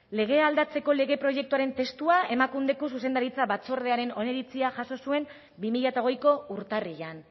legea aldatzeko lege proiektuaren testua emakundeko zuzendaritza batzordearen oniritzia jaso zuen bi mila hogeiko urtarrilean